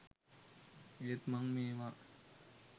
ඒත් මං මේවා